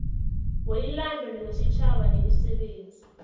weyilando wesitjhaba nemisebenzi